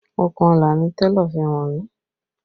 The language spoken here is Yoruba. Okùnọlà ni télọ̀ fi wọ̀n mí